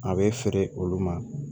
A bɛ feere olu ma